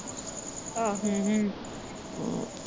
ਆਹੋ